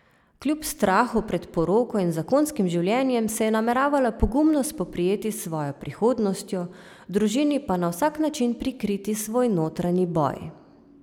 Kljub strahu pred poroko in zakonskim življenjem se je nameravala pogumno spoprijeti s svojo prihodnostjo, družini pa na vsak način prikriti svoj notranji boj.